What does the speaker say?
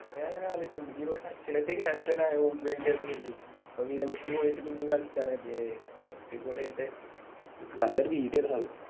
അതാ ഞാനാലോയിച്ച് നോക്കി സച്ചിനൊക്കെ Captain ആയാലൊന്ന് കരുതി -ഓൻ വിരമിച്ച് പോയിട്ട് പിന്നേം കളികച്ചാന്ന് കരുതി എ അടിപൊളിയായിട്ട് നല്ലൊരു Video ആയിരുന്നു അത്